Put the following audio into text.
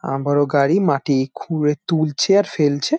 আহ বড়ো গাড়ি মাটি খুঁড়ে তুলছে আর ফেলছে।